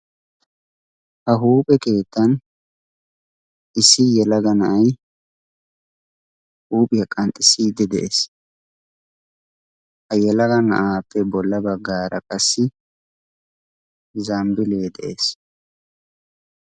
ha huuphe keettan issi yelaga na7ai huuphiya qanxxissiidde de7ees ha yelaga na7aappe bolla baggaara qassi zambbile de7ees